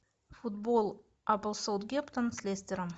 футбол апл саутгемптон с лестером